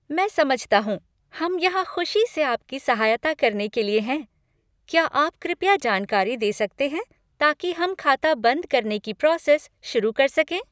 मैं समझता हूँ। हम यहाँ खुशी से आपकी सहायता करने के लिए हैं। क्या आप कृपया जानकारी दे सकते हैं ताकि हम खाता बंद करने की प्रोसेस शुरू कर सकें?